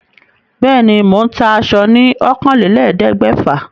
Bẹ́ẹ̀ ni, mò ń ta aṣo ní ọ̀kànlélẹ̀ẹ́dégbèfà.